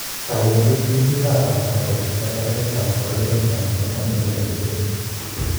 Takomochoche tImit ap Barcelona kosir kotiorindet ap Borussia Dortmund Ousmane Dembele, 20.